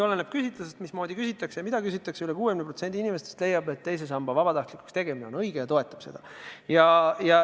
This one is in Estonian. Oleneb küsitlusest, mismoodi küsitakse ja mida küsitakse, aga üle 60% inimestest leiab, et teise samba vabatahtlikuks tegemine on õige, ja toetab seda.